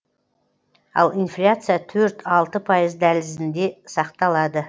ал инфляция төрт алты пайыз дәлізінде сақталады